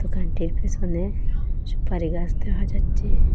দোকানটির পিসনে সুপারি গাস দেখা যাচ্ছে।